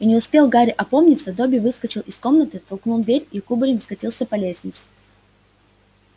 и не успел гарри опомниться добби выскочил из комнаты толкнул дверь и кубарем скатился по лестнице